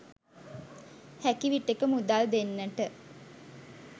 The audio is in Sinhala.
හැකි විටෙක මුදල් දෙන්නට